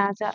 রাজা।